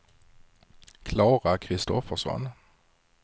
Klara Kristoffersson